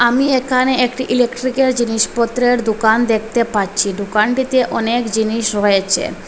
আমি এখানে একটি ইলেকট্রিকের জিনিসপত্রের দোকান দেখতে পাচ্ছি দোকানটিতে অনেক জিনিস রয়েছে।